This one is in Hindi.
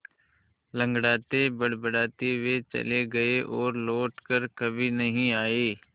लँगड़ाते बड़बड़ाते वे चले गए और लौट कर कभी नहीं आए